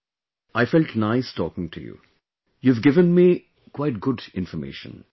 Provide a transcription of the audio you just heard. Bhavana ji, I felt nice talking to you, you have given me quite good information